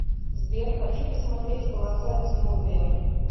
сбер хочу посмотреть полоса безмолвия